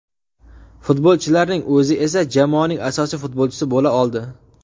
Futbolchilarning o‘zi esa jamoasining asosiy futbolchisi bo‘la oldi.